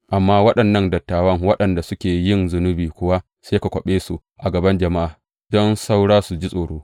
Amman waɗannan dattawa waɗanda suke yin zunubi kuwa sai ka kwaɓe su a gaban jama’a, don saura su ji tsoro.